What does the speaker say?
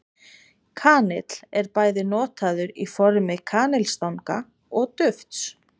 Kanill er bæði notaður í formi kanilstanga og dufts.